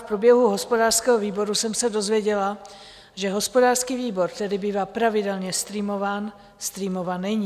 V průběhu hospodářského výboru jsem se dozvěděla, že hospodářský výbor, který bývá pravidelně streamován, streamován není.